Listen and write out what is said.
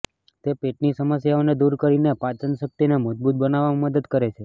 તે પેટની સમસ્યાઓને દૂર કરીને પાચન શક્તિને મજબૂત બનાવવામાં મદદ કરે છે